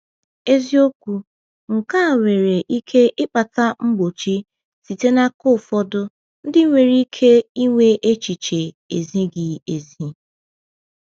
Eziokwu, nke a nwere ike ịkpata mgbochi site n’aka ụfọdụ ndị nwere ike ịnwe echiche ezighi ezi.